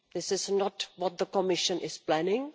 This is not what the Commission is planning.